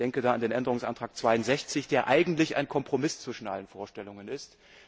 Ich denke da an den Änderungsantrag 62, der eigentlich ein Kompromiss zwischen allen Vorstellungen ist.